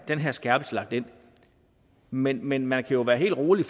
den her skærpelse lagt ind men men man kan jo være helt rolig